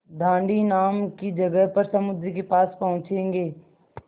दाँडी नाम की जगह पर समुद्र के पास पहुँचेंगे